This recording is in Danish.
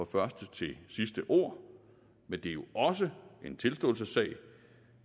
første til sidste ord men det er jo også en tilståelsessag